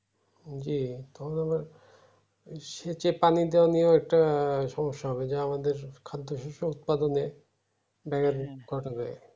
জী তখন আবার সে যে পানিতে নিয়ে একটা সমস্যা হবে যে আমাদের খাদ্য শস্যে উৎপাদনে ব্যাঘাত ঘটাবে